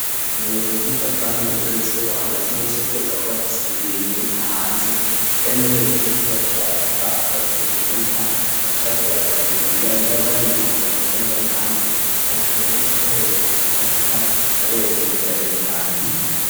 Mu buhinga bwanone bugezweho amazu yose ategerezwa kuba afise ibiyo bimurika hanze mbere no hejuru nkiyo bariko baravuga akaba ari ikintu kimurika bagaca baja barabiraba imbere yabo nibo bari nyuma babibona bari hanze hari kintu bamurikako hejuru kica kiza kiraberekeye ibiriko birabera indani.